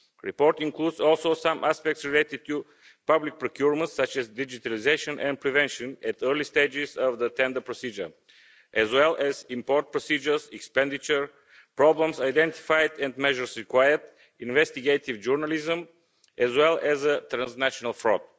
The report includes also some aspects related to public procurement such as digitalisation and prevention at the early stages of the tender procedure as well as import procedures, expenditure problems identified and measures required, investigative journalism, as well as transnational fraud.